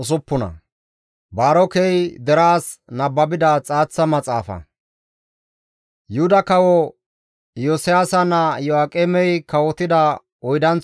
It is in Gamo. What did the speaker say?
Yuhuda kawo Iyosiyaasa naa Iyo7aaqemey kawotida oydanththo layththan, GODAA qaalay Ermaasakko yiidi,